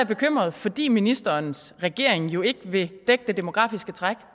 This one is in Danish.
bekymret fordi ministerens regering jo ikke vil dække det demografiske træk